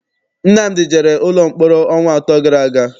Nnamdi jere ụlọ mkpọrọ ọnwa atọ gara aga.